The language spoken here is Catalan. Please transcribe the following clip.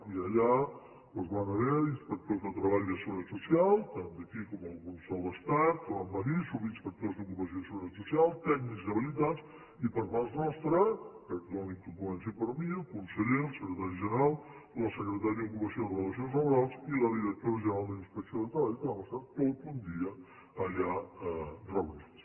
i allà doncs van haver hi inspectors de treball i de seguretat social tant d’aquí com alguns de l’estat que van venir subinspectors d’ocupació i seguretat social tècnics habilitats i per part nostra perdonin que comenci per mi el conseller el secretari general la secretària d’ocupació i relacions laborals i la directora general de la inspecció de treball que vam estar tot un dia allà reunits